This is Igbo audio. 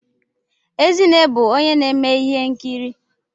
Ezinne bụ onye na-eme ihe nkiri